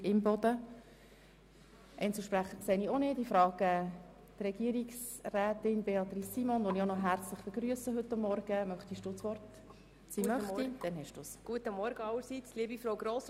Die FiKo konnte sich nicht wirklich dazu äussern, der Regierungsrat ebenso wenig, und ich selber habe mit der Steuerverwaltung die allfälligen finanziellen Auswirkungen auch nicht betrachten können.